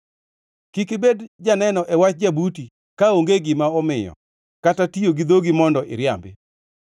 Kik ibed janeno e wach jabuti kaonge gima omiyo, kata tiyo gi dhogi mondo iriambi.